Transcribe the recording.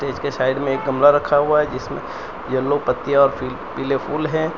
पीछे साइड में एक गमला रखा हुआ जिसमें येलो पत्तियां और पीले फूल हैं।